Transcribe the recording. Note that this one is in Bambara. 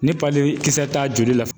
Ni kisɛ t'a joli la